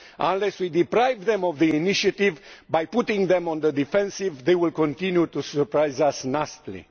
Unless we deprive them of the initiative by putting them on the defensive, they will continue to surprise us nastily.